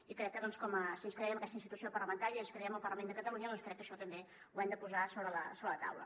i crec que doncs si ens creiem aquesta institució parlamentària si ens creiem el parlament de catalunya doncs crec que això també ho hem de posar sobre la taula